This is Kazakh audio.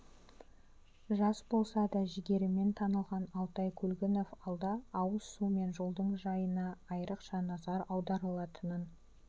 жас болса да жігерімен танылған алтай көлгінов алда ауыз су мен жолдың жайына айрықша назар аударылатынын